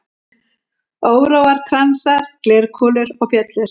Óróar, kransar, glerkúlur og bjöllur.